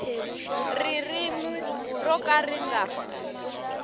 ririmi ro ka ri nga